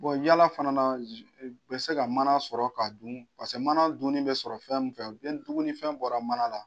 yala fana la u bɛ se ka mana sɔrɔ k'a dun paseke mana dunni bɛ sɔrɔ fɛn mun fɛ dugunifɛn bɔra mana la.